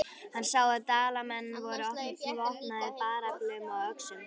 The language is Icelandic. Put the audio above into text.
Hann sá að Dalamenn voru vopnaðir bareflum og öxum.